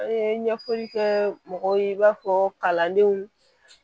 An ye ɲɛfɔli kɛ mɔgɔw ye i b'a fɔ kalandenw